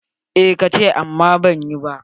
Eh, ka ce amma ban yi ba.